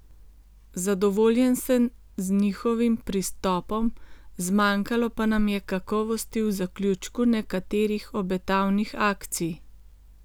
Zadovoljen sem z njihovim pristopom, zmanjkalo pa nam je kakovosti v zaključku nekaterih obetavnih akcij.